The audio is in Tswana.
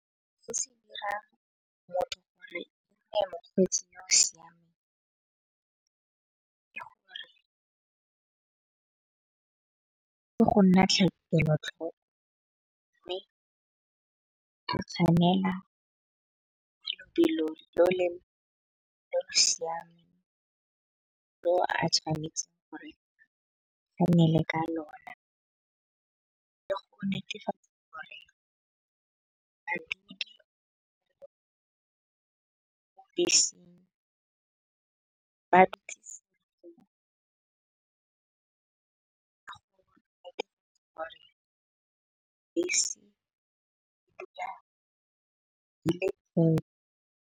Go se dira motho gore ka go nna kelotlhoko. Mme ke tshwanela ka lebelo le le siameng mo a tshwanetseng gore le ka lona. Ke go netefatsa gore bese ba tlile go ka gore bese .